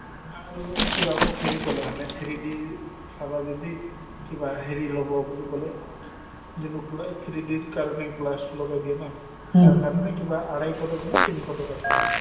আৰু কিবা মোক হেৰি ক'লে মানে three D ৰ চাবা যদি কিবা হেৰি ল'ব বুলি ক'লে যেনেকুৱা three D ৰ কাৰণে glass লগাই তাৰ কাৰণে কিবা আঢ়ৈশ টকাকৈ নে তিনিশ টকাকৈ লয়